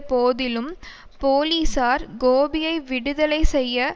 போதிலும் போலீசார் கோபியை விடுதலை செய்ய